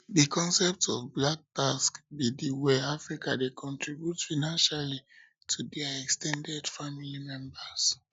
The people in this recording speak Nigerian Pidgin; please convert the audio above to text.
di concept of black tax be di way africans dey contribute financially to financially to dia ex ten ded family members